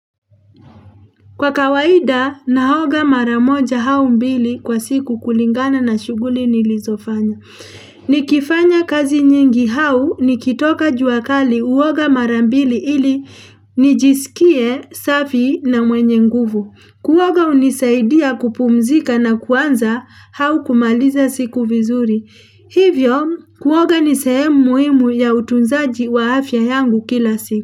Kwa kawaida, naoga maramoja aumbili kwa siku kulingana na shughuli nilizofanya. Nikifanya kazi nyingi hau nikitoka juakali huoga marambili ili nijisikie safi na mwenye nguvu. Kuoga hunisaidia kupumzika na kuanza hau kumaliza siku vizuri. Hivyo, kuoga nisehe mu muhimu ya utunzaji wa afya yangu kila siku.